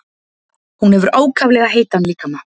Hún hefur ákaflega heitan líkama.